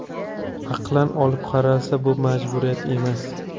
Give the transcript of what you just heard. Aqlan olib qaralsa, bu majburiyat emas.